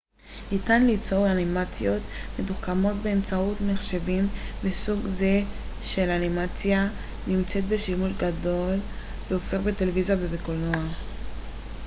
ניתן ליצור אנימציות מתוחכמות באמצעות מחשבים וסוג זה של אנימציה נמצא בשימוש גדל והולך בטלוויזיה ובקולנוע